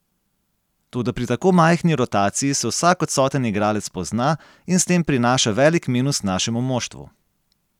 Toda pri tako majhni rotaciji se vsak odsoten igralec pozna in s tem prinaša velik minus našemu moštvu.